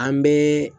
An bɛ